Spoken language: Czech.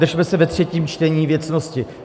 Držme se ve třetím čtení věcnosti.